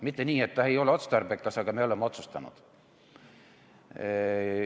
Mitte nii, et ta ei ole otstarbekas, aga me oleme otsustanud.